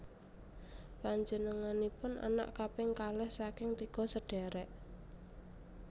Panjénenganipun anak kaping kalih saking tiga sedhèrèk